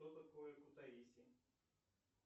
что такое кутаиси